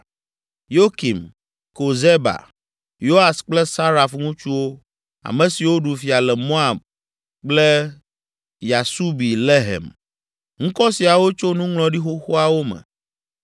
Yokim, Kozeba, Yoas kple Saraf ŋutsuwo, ame siwo ɖu fia le Moab kple Yasubi Lehem. Ŋkɔ siawo tso nuŋlɔɖi xoxoawo me.